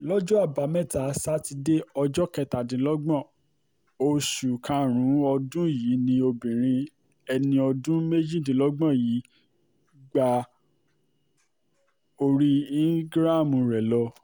lọ́jọ́ àbámẹ́ta sátidé ọjọ́ kẹtàdínlọ́gbọ̀n oṣù karùn-ún ọdún yìí ni obìnrin ẹni ọdún méjìdínlọ́gbọ̀n yìí gba orí íńgíráàmù rẹ̀ lọ